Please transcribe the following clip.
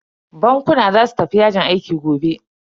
Bankuna za su tafi yajin aiki gobe.